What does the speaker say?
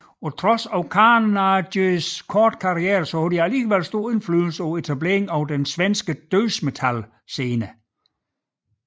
Trods Carnages korte karriere havde de stor indflydelse på etableringen af den svenske dødsmetal scene